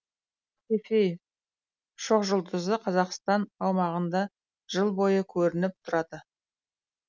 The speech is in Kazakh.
цефей шоқжұлдызы қазақстан аумағында жыл бойы көрініп тұрады